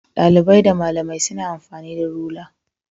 Dalibai da malamai suna amfani da rula